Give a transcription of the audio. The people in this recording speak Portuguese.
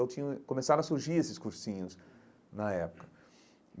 Eu tinha começaram a surgir esses cursinhos na época.